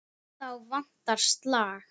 Þá vantar slag.